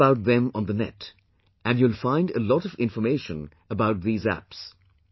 Search about them on the Net and you will find a lot of information about these apps